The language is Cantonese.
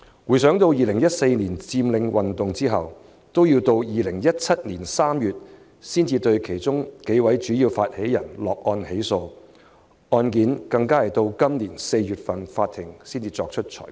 回想2014年佔領運動之後，直至2017年3月才對其中數位主要發起人落案起訴，法庭更要在今年4月才對案件作出裁決。